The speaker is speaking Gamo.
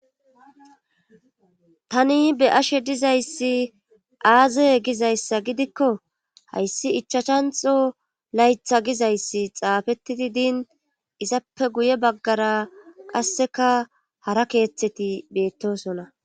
tani be ashe dizayssi aaze gizayssa gidikko hayssi ichachanxo laytha gizayssi xaafettidi diin izappe guye baggara qasseka hara keeththeti beettosona